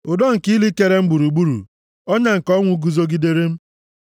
Ụdọ nke ili kere m gburugburu, ọnya nke ọnwụ guzogidere m.